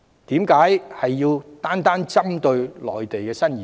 為何單單要針對內地新移民？